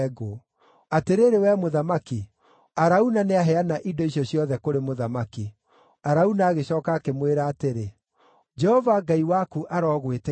Atĩrĩrĩ, wee mũthamaki, Arauna nĩaheana indo icio ciothe kũrĩ mũthamaki.” Arauna agĩcooka akĩmwĩra atĩrĩ, “Jehova Ngai waku arogwĩtĩkĩra.”